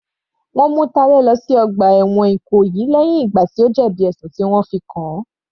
Wọ́n mú Talẹ lọ sí ọgbà ẹ̀wọ̀n Ìkòyí lẹ́hìn ìgbà tí ó jẹ̀bi ẹ̀sùn tí wọ́n fi kàn-an.